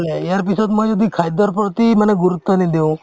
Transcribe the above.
এই ইয়াৰ পিছত মই যদি খাদ্যৰ প্ৰতি মানে গুৰুত্ৱ নিদিও